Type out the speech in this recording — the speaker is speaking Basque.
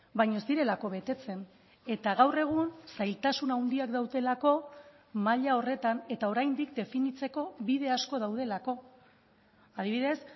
baina ez direlako betetzen eta gaur egun zailtasun handiak daudelako maila horretan eta oraindik definitzeko bide asko daudelako adibidez